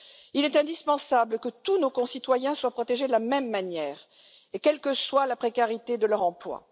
Il est indispensable que tous nos concitoyens soient protégés de la même manière, quelle que soit la précarité de leur emploi.